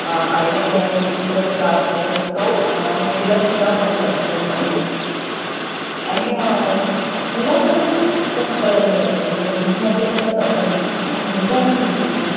अं आईला ज्या ज्या गोष्टीचा जर त्रास होत असेल, तो मुलीला सुद्धा होत असतो म्हणून. आणि अं मुलांमध्ये पण खूप बदल होत असतात म्हणजे मुलींमध्येचं होतात अस नाही. मुलगा आणि मुलगी